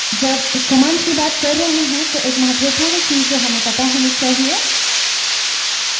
जब commands की बात कर रहे हैं तो एक महत्वपूर्ण चीज़ जो हमें पता होनी चाहिए